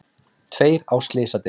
Tveir á slysadeild